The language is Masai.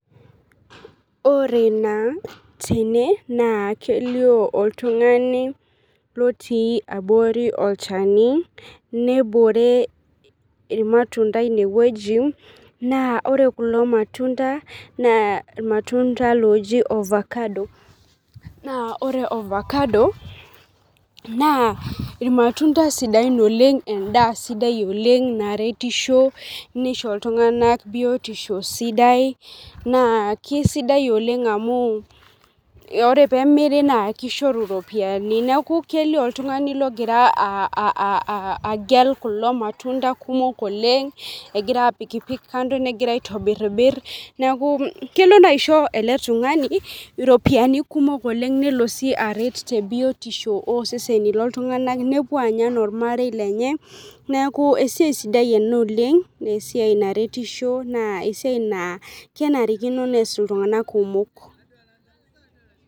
Ore taa tene naa kelio oltungani lotii abori olchani nebore irmatunda ine wueji naa ore kulo matunda naa irmatunda loji ovacado , naa ore ovacado naa irmatunda sidain oleng , endaa sidai oleng , naretisho nisho iltunganak biotisho sidai naa kesidai oleng amu ore pemiri naa kishoru iropiyiani . Niaku kelio oltungani logira aa aa agel kulo matunda kumok oleng , egira apik pik kando , negira aitobirbir , niaku kelo naa aisho ele tungani iropiyiani kumok oleng, nelo si aret tebiotisho oseseni loltunganak nepuo anya anaa ormarei lenye , neku esiai sidai ena oleng nee esiai naretisho naa esiai naa kenarikino nees iltunganak kumok .